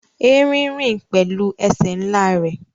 Erin rin pẹlu ẹsẹ nla rẹ